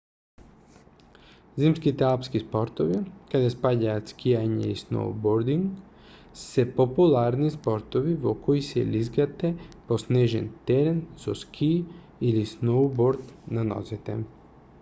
зимските алпски спортови каде спаѓаат скијање и сноубординг се популарни спортови во кои се лизгате по снежен терен со скии или сноуборд на нозете